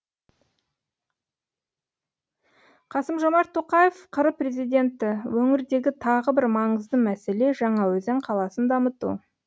қасым жомарт тоқаев қр президенті өңірдегі тағы бір маңызды мәселе жаңаөзен қаласын дамыту